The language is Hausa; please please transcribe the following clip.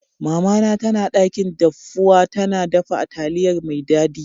Mama na tana dakin dafuwa, tana dafa taliyar mai daddi.